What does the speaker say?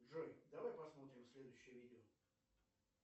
джой давай посмотрим следующее видео